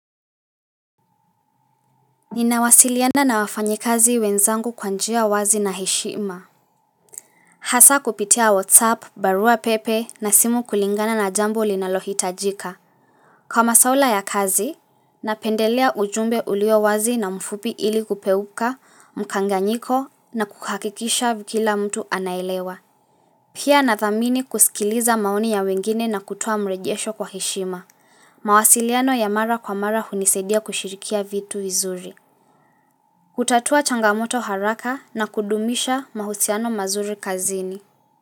Ninawasiliana na wafanyikazi wenzangu kwa njia wazi na heshima Hasa kupitia whatsapp, barua pepe na simu kulingana na jambo linalohitajika Kwa masaula ya kazi, napendelea ujumbe ulio wazi na mfupi ili kupeuka, mkanganyiko na kukakikisha kila mtu anaelewa Pia nathamini kusikiliza maoni ya wengine na kutoa mrejesho kwa heshima mawasiliano ya mara kwa mara hunisaidia kushirikia vitu vizuri kutatua changamoto haraka na kudumisha mahusiano mazuri kazini.